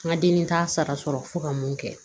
N ka denni t'a sara sɔrɔ fo ka mun kɛ